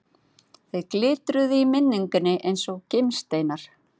Þeir glitruðu í minningunni eins og gimsteinar.